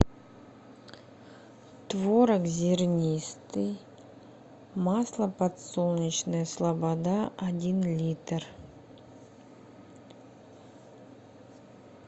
творог зернистый масло подсолнечное слобода один литр